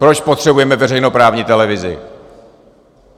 Proč potřebujeme veřejnoprávní televizi?